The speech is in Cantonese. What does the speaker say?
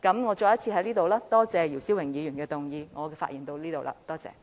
我再次感謝姚思榮議員動議這項議案。